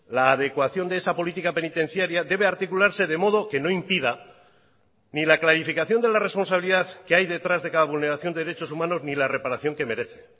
la adecuación de esa política penitenciaria debe articularse de modo que no impida ni la clarificación de la responsabilidad que hay detrás de cada vulneración de derechos humanos ni la reparación que merece